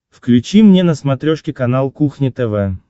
включи мне на смотрешке канал кухня тв